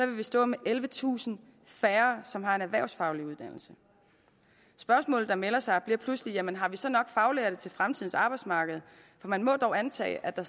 vi stå med ellevetusind færre som har en erhvervsfaglig uddannelse spørgsmålet der melder sig bliver pludselig jamen har vi så nok faglærte til fremtidens arbejdsmarked for man må dog antage at der